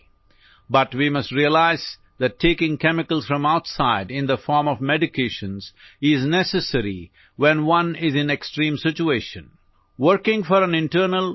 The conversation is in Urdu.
دماغی بیماریوں کا علاج اس طرح کیا جا رہا ہے، لیکن ہمیں یہ سمجھنا چاہیے کہ جب کوئی انتہائی حالت میں ہو تو ادویات کی شکل میں باہر سے کیمیکل لینا ضروری ہے